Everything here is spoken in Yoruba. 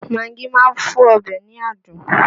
Magí máa ń fún ọbẹ̀ ní adùn